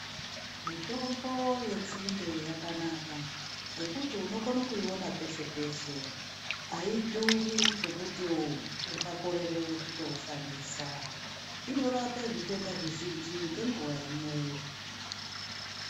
Mitombo yenzinde yakanaka ngekuti unokone kuiona peshe peshe aidhuri zvekuti ungakorerr kuishandisa inorape zvitenda zvizhinji ngenguwa imweyo.